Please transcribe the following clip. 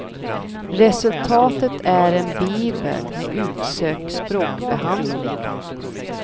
Resultatet är en bibel med utsökt språkbehandling.